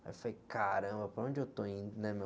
Aí eu falei, caramba, para onde eu estou indo, né, meu?